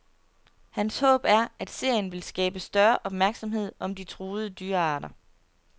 Hans håb er, at serien vil skabe større opmærksomhed om de truede dyrearter.